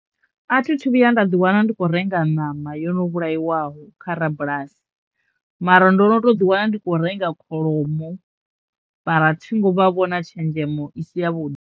A thi thu vhuya nda ḓi wana ndi khou renga ṋama yo no vhukaiwaho kha rabulasi mara ndo no to ḓi wana ndi kho renga kholomo mara thi ngo vha vho na tshenzhemo i si ya vhuḓi.